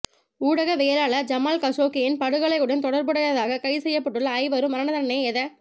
ஊடகவியலாளர் ஜமால் கஷோக்கியின் படுகொலையுடன் தொடர்புடையதாக கைது செய்யப்பட்டுள்ள ஐவரும் மரண தண்டனையை எத